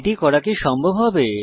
এটি করা কি সম্ভব হবে